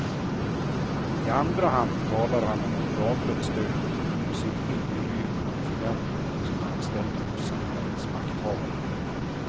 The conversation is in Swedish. I andra hand talar han om ett lagligt stöd för civil olydnad för dem som är anställda hos samhällets makthavare.